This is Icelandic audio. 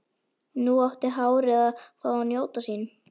Nú átti hárið að fá að njóta sín.